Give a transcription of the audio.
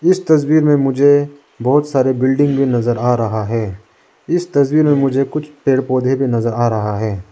इस तस्वीर में मुझे बोहोत सारे बिल्डिंग भी नजर आ रहा है इस तस्वीर में मुझे कुछ पेड़ पौधे भी नजर आ रहा है।